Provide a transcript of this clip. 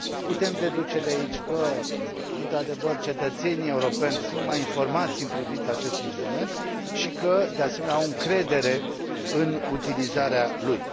Putem deduce de aici că, într adevăr, cetățenii europeni sunt mai informați în privința acestui instrument și că, de asemenea, au încredere în utilizarea lui.